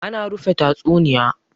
ana rufe tatsuniya?